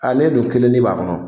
Ale dun kelennin b'a kɔnɔ!